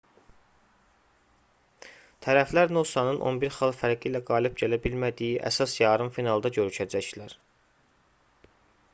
tərəflər nosanın 11 xal fərqi ilə qalib gələ bilmədiyi əsas yarım finalda görüşəcəklər